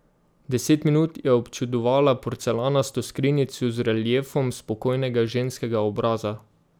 Deset minut je občudovala porcelanasto skrinjico z reliefom spokojnega ženskega obraza.